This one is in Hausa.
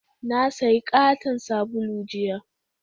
Na sayi katon sabulu jiya